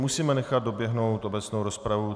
Musíme nechat doběhnout obecnou rozpravu.